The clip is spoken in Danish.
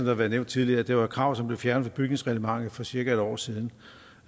har været nævnt tidligere at det var et krav som blev fjernet fra bygningsreglementet for cirka en år siden